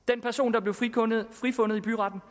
der blev frifundet frifundet i byretten